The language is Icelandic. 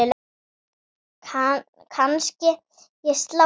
Kannske ég slái til.